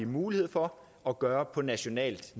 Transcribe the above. mulighed for at gøre på nationalt